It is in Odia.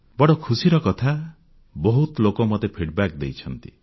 ବଡ଼ ଖୁସିର କଥା ବହୁତ ଲୋକ ମୋତେ ଅଭିମତ ଫିଡବ୍ୟାକ୍ ଦେଇଛନ୍ତି